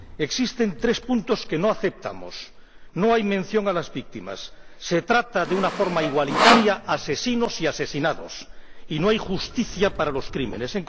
Existen tres puntos que no aceptamos no hay mención a las víctimas, se trata de una forma igualitaria a asesinos y a asesinados, y no hay justicia para los crímenes.